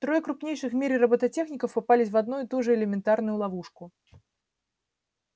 трое крупнейших в мире роботехников попались в одну и ту же элементарную ловушку